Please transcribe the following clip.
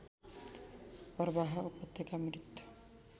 अरबाह उपत्यका मृत